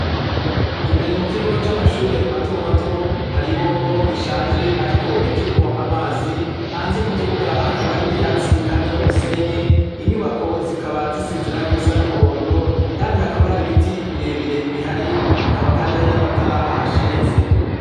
Imbere mu kigo c'amashure mato mato hari ibombo rishaje ariko rikirimwo amazi, hanze mu kibuga hakaba hari ivyatsi hamwe n'umusenyi, inyubako zikaba zisize irangi risa n'umuhondo kandi hakaba hari biti birebire bihari, hakaba kandi hari n'amatara ahashinze.